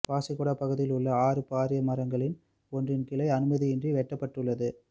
பாசிக்குடா பகுதியிலுள்ள ஆறு பாரிய மரங்களின் ஒன்றின் கிளை அனுமதியின்றி வெட்டப்பட்டுள்ளது